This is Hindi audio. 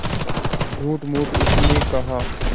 झूठमूठ उसने कहा